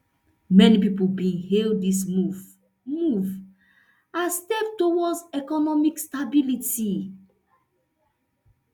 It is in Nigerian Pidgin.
many pipo bin hail dis move move as step towards economic stability